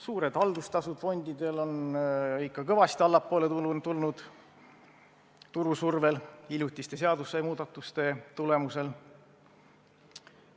Suured fondide haldustasud on ikka kõvasti allapoole tulnud turu survel ja hiljutiste seadusemuudatuste tulemusel.